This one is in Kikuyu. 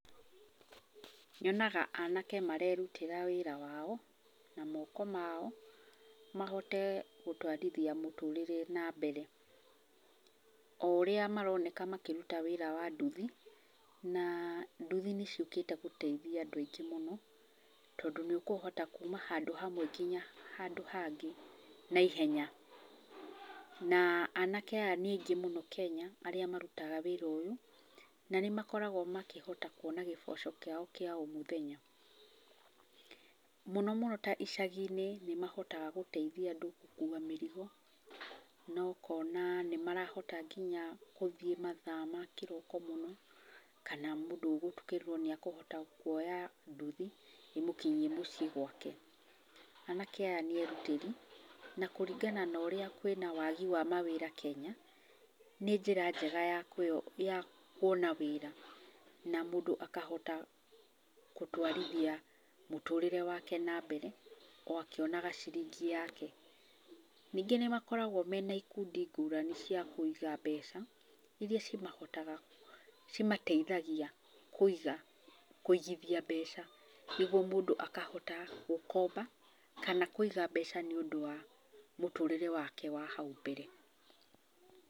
Nyonaga anake marerutĩra wĩra wao, na moko mao, mahote gũtũarithia mũtũrĩre na mbere. O ũrĩa maroneka makĩruta wĩra wa nduthi na nduthi nĩ ciũkĩte gũteithia andũ aingĩ mũno, tondũ nĩ ũkũhota kũma handũ hamwe nginya handũ hangĩ, na ihenya. Na anake aya nĩ aingĩ mũno Kenya, arĩa marutaga wĩra ũyũ, na nĩ makoragwo makĩhotaga kuona gĩboco kĩao kĩa o mũthenya. Mũno mũno ta icagi-inĩ nĩ mahotaga gũteithia andũ gũkuwa mĩrigo, na ũkona nĩ marahota gũthiĩ nginya mathaa makĩroko mũno, kana nginya mũndũ ũgũtukĩrĩrwo nĩarahota kuoya nduthi, ĩmũkinyie mũciĩ gwake. Anake aya nĩ erutĩri, na kũringana na ũria kwina wagi wa mawĩra Kenya, nĩ njĩra njega ya kuona wĩra, na mũndũ akahota gũtwarithia mũtũrĩre wake na mbere, o akĩonaga ciringĩ yake. Ningĩ nĩ makoragwo mena ikundi ngũrani cia kũiga mbeca, iria cimahota, cimateithagia, kũiga, kũigithia mbeca, nĩguo mũndũ akahota gũkomba kana kũiga mbeca nĩ ũndũ wa mũtũrire wake wa hau mbere.